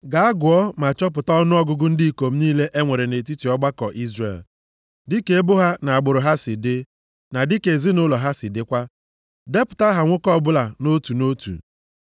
“Gaa gụọ ma chọpụta ọnụọgụgụ ndị ikom niile e nwere nʼetiti ọgbakọ Izrel, dịka ebo ha na agbụrụ ha si dị, na dịka ezinaụlọ ha si dịkwa. Depụta aha nwoke ọbụla nʼotu na otu.